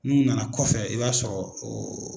N'u nana kɔfɛ i b'a sɔrɔ o